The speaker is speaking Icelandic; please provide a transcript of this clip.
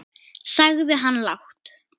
sagði hann lágt.